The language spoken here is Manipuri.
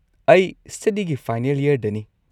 ꯑꯩ ꯁ꯭ꯇꯗꯤꯒꯤ ꯐꯥꯏꯅꯦꯜ ꯌꯔꯗꯅꯤ꯫